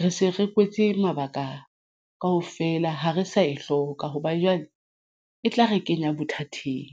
re se re kwetse mabaka kaofela ha re sa e hloka hobane jwale e tla re kenya bothateng.